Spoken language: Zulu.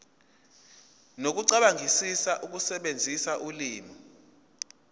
nokucabangisisa ukusebenzisa ulimi